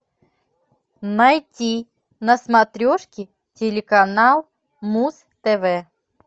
найти на смотрешке телеканал муз тв